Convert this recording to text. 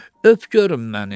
Öp görüm məni.